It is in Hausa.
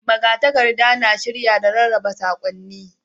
Magatakarda na shirya, da rarraba saƙonni.